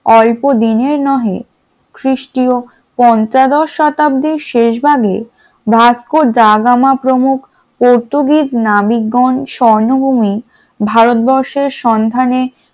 অল্পদিনের নহে খ্রিস্টীয় পঞ্চদশ শতাব্দীর শেষ ভাগে ভাস্করাডাগামা প্রমুখ পর্তুগিজ নাবিকগণ স্বর্ণভূমি ভারতবর্ষের সন্ধানে,